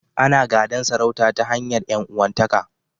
Ana gadan sarauta ta hanyar ƴan'uwanta ka.